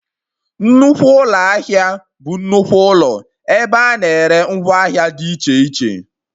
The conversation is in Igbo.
Nnukwu ụlọ ahịa bụ nnukwu ụlọ ebe a na-ere ngwa ahịa dị iche iche